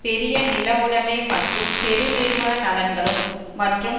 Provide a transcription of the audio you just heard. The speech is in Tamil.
பெரிய நில உடமை மற்றும் பெருநிறுவன நலன்களும் மற்றும்